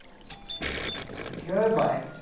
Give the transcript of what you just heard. કે ભાઈ,